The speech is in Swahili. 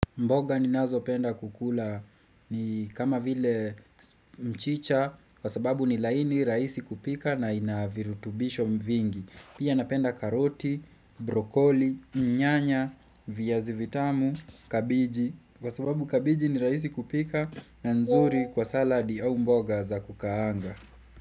Mboga ninazopenda kukula ni kama vile mchicha kwa sababu ni laini raisi kupika na ina virutubisho mvingi Pia napenda karoti, brokoli, nyanya, viazi vitamu, kabeji Kwa sababu kabeji ni raisi kupika na nzuri kwa saladi au mboga za kukaanga.